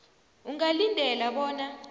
ungalindela bona